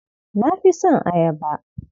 Na fi son ayaba.